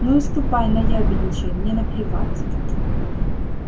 ну и ступай наябедничай мне наплевать